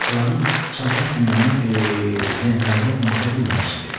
Bağçaların çağdaş dünyanın trendlərinə uyuşa bilməməsidir.